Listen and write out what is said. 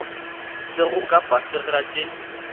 sego ka fase ga tše